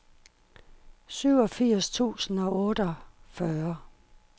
syvogfirs tusind og otteogfyrre